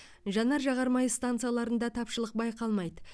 жанар жағар май станцияларында тапшылық байқалмайды